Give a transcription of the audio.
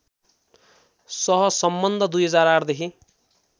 सहसम्बन्ध २००८ देखि